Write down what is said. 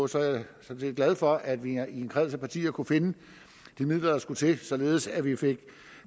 sådan set glad for at vi i en kreds af partier kunne finde de midler der skulle til således at vi fik